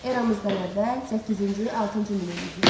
Eramızdan əvvəl səkkizinci altıncı min illiklər.